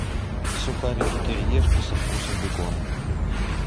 сухарики кириешки со вкусом бекона